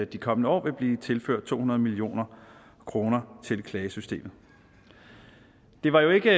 de kommende år vil blive tilført to hundrede million kroner til klagesystemet det var jo ikke